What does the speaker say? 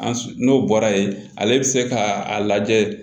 An n'o bɔra yen ale bɛ se k'a lajɛ